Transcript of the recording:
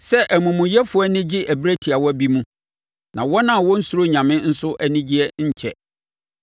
sɛ amumuyɛfoɔ ani gye ɛberɛ tiawa bi mu, na wɔn a wɔnnsuro nyame nso anigyeɛ nkyɛ.